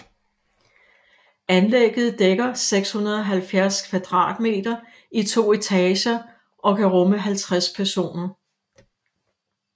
Anlægget dækker 670 kvadratmeter i to etager og kan rumme 50 personer